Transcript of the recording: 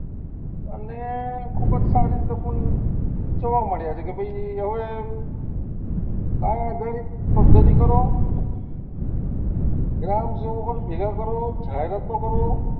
અને ખુબ જ સારી રીતે ચડવા મંડ્યા કે ભાઈ હવે આધારિત પધ્ધતિ કરો ગ્રામ સેવકોને ભેગા કરો જાય રસ્તો કરો.